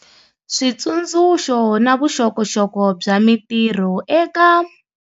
Switsundzuxo na vuxokoxoko bya mitirho eka.